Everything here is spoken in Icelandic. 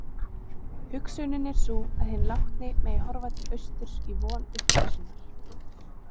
Hugsunin er sú að hinn látni megi horfa til austurs í von upprisunnar.